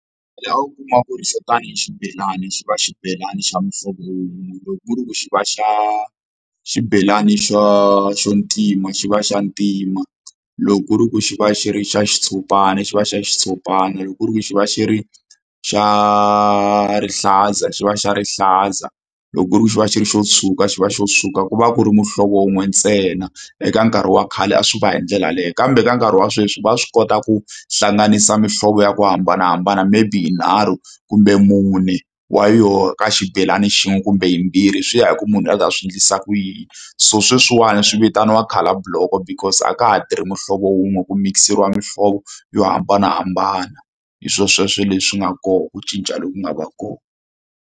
Laha u kumaka ku ri xo tani xibelani xi va xibelani xa muhlovo wun'we loko ku ri ku xi va xa xibelani xo xo ntima xi va xa ntima loko ku ri ku xi va xi ri xa xitshopana xi va xi ya xitshopana loko ku ri ku xi va xi ri xa rihlaza xi va xa rihlaza loko ku ri xi va xi ri xo tshuka xi va xo tshuka ku va ku ri muhlovo wun'we ntsena. Eka nkarhi wa khale a swi va hi ndlela yeleyo kambe ka nkarhi wa sweswi va swi kota ku hlanganisa mihlovo ya ku hambanahambana maybe yinharhu kumbe mune wa yona ka xibelani xin'we kumbe yimbirhi swi ya hi ku munhu a la ku ta swi endlisa ku yini so sweswiwani swi vitaniwa colour block because a ka ha tirhi muhlovo wun'we ku mikiseriwa muhlovo yo hambanahambana hi swo sweswo leswi nga kona ku cinca loku nga va kona.